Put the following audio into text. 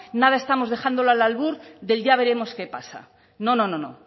nada estamos dejándolo al albur del ya veremos qué pasa no no no